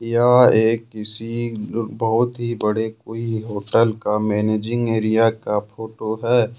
यह एक किसी बहुत ही बड़े कोई होटल का मैनेजिंग एरिया का फोटो है।